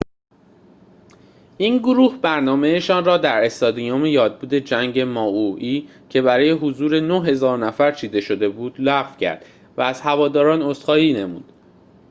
این گروه برنامه‌شان را در استادیوم یادبود جنگ مائوئی که برای حضور ۹,۰۰۰ نفر چیده شده بود لغو کرد و از هواداران عذرخواهی نمود